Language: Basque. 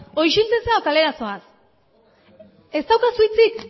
ez daukazu hitzik